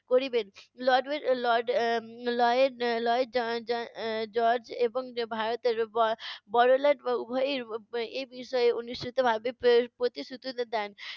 করিবেন lord lord এর Lloyd George এবং ভারতের ব~ বড় লাট উভয়েই এই বিষয়ে অনুষ্ঠিত ভাবে প~ প্রতিশ্রুতি দেন।